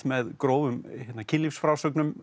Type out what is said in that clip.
með grófum